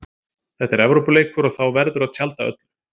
Þetta er Evrópuleikur og þá verður að tjalda öllu.